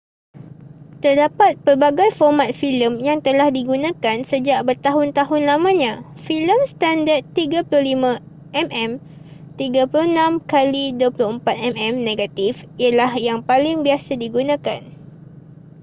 terdapat pelbagai format filem yang telah digunakan sejak bertahun-tahun lamanya. filem standard 35 mm 36 x 24 mm negatif ialah yang paling biasa digunakan